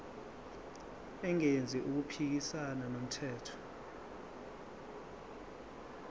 engenzi okuphikisana nomthetho